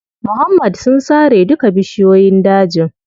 Muhammad sun sare duka bishiyoyin dajin.